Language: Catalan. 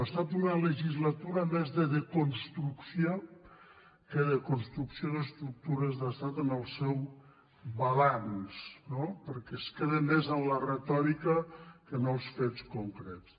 ha estat una legislatura més de desconstrucció que de construcció d’estructures d’estat en el seu balanç no perquè es queden més en la retòrica que no els fets concrets